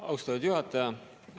Austatud juhataja!